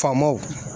Faamaw